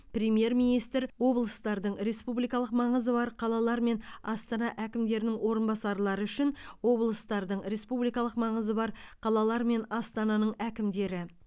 премьер министр облыстардың республикалық маңызы бар қалалар мен астана әкімдерінің орынбасарлары үшін облыстардың республикалық маңызы бар қалалар мен астананың әкімдері